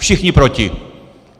Všichni proti!